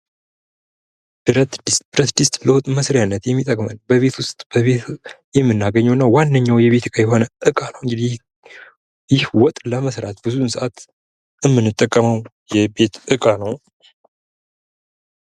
ብረት ድስት:- ብረት ድስት ለወጥ መስሪያነት የሚጠቅመን በቤት ዉስጥ የምናገኘዉ እና ዋነኛዉ የቤት እቃ ነዉ። ይህ ወጥ ለመስራት የምንጠቀመዉ የቤት እቃ ነዉ።